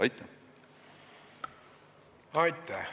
Aitäh!